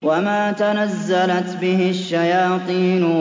وَمَا تَنَزَّلَتْ بِهِ الشَّيَاطِينُ